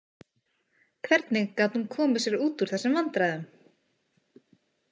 Hvernig gat hún komið sér út úr þessum vandræðum?